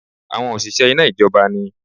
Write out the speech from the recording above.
Àwọn òṣìṣẹ́ iná ìjọba ni